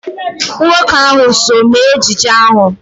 Nwoke ahụ so mee ejije ahụ.